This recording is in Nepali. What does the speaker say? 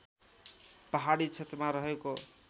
पहाडी क्षेत्रमा रहेको